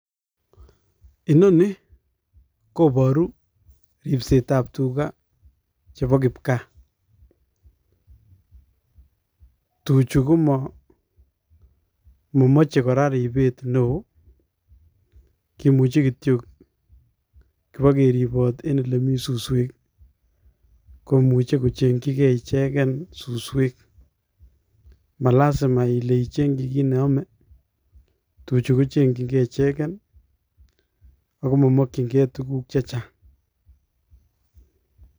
Inoni koboru ripsetab tugaa chebo kipgaa, tuchu komomoche kora ribet neo, kimuche kityok kibokeriboot en elemii suswek, koimuche kochengchige icheget suswek malasima Ile ichengchi kit neome. Tuchu kochengchinge ichegeen ak momokyinge tuguuk chechang